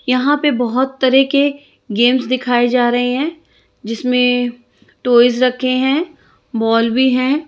यहाँ पे बहुत तरह के गेम्स दिखाए जा रहे हैं जिसमे टॉयज रखे हैं बॉल भी हैं।